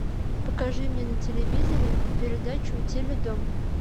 покажи мне на телевизоре передачу теледом